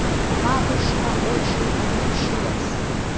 матушка очень огорчилась